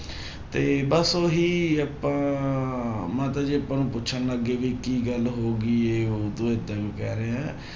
ਤੇ ਬਸ ਉਹੀ ਆਪਾਂ ਮਾਤਾ ਜੀ ਆਪਾਂ ਨੂੰ ਪੁੱਛਣ ਲੱਗ ਗਏ ਵੀ ਕੀ ਗੱਲ ਹੋ ਗਈ ਹੈ ਹੁਣ ਤੂੰ ਏਦਾਂ ਕਿਉਂ ਕਹਿ ਰਿਹਾ ਹੈ।